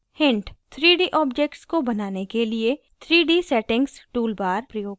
hint: 3d objects को बनाने के लिए 3d settings toolbar प्रयोग करें